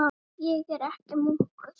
Ég er ekki munkur.